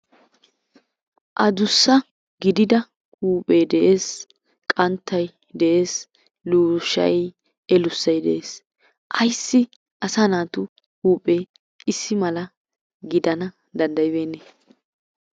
Addussa gidida huphphee de'ees, qanttay de'ees luushshay philosophy de'ees ayssi asaa naatu huuphe ayssi issi mala giddana danddayibeenne.